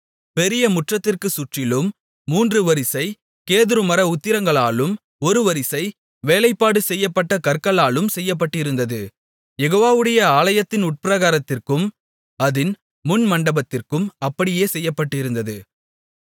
பெரிய முற்றத்திற்குச் சுற்றிலும் மூன்று வரிசைக் கேதுருமர உத்திரங்களாலும் ஒரு வரிசை வேலைப்பாடு செய்யப்பட்ட கற்களாலும் செய்யப்பட்டிருந்தது யெகோவாவுடைய ஆலயத்தின் உட்பிராகாரத்திற்கும் அதின் முன்மண்டபத்திற்கும் அப்படியே செய்யப்பட்டிருந்தது